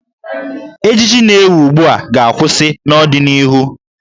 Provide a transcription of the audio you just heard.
Ejiji na-ewi ugbu a ga-akwụsị iwi n'ọdịnihu.